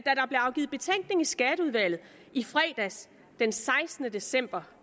afgivet betænkning i skatteudvalget i fredags den sekstende december